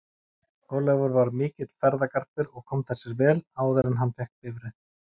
Ólafur var mikill ferðagarpur og kom það sér vel áður en hann fékk bifreið.